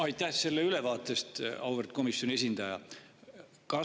Aitäh selle ülevaate eest, auväärt komisjoni esindaja!